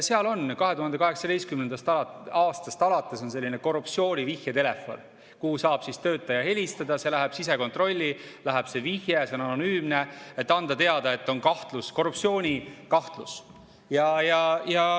Seal on 2018. aastast alates selline korruptsiooni vihjetelefon, kuhu saab töötaja helistada, et anda teada, et on kahtlus, korruptsioonikahtlus, see vihje läheb sisekontrolli, see on anonüümne.